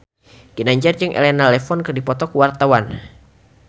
Ginanjar jeung Elena Levon keur dipoto ku wartawan